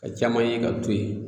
Ka caman ye ka to yen